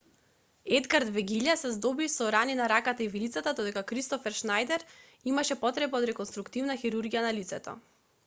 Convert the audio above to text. едгар вегиља се здоби со рани на раката и вилицата додека кристофер шнајдер имаше потреба од реконструктивна хирургија на лицето